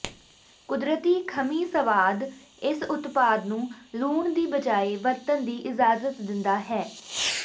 ਕੁਦਰਤੀ ਖਮੀ ਸਵਾਦ ਇਸ ਉਤਪਾਦ ਨੂੰ ਲੂਣ ਦੀ ਬਜਾਇ ਵਰਤਣ ਦੀ ਇਜਾਜ਼ਤ ਦਿੰਦਾ ਹੈ